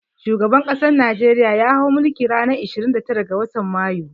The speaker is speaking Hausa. Shugaban ƙasan najeriya ya hau mulki ran ashirin da tara ga watan mayu